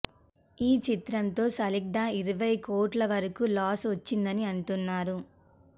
ఈ చిత్రంతో సాలిడ్గా ఇరవై కోట్ల వరకు లాస్ వచ్చిందని అంటున్నారు